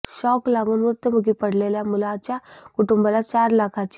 shock लागून मृत्युमुखी पडलेल्या मुलाच्या कुटूंबाला चार लाखाची